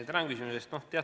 Tänan küsimuse eest!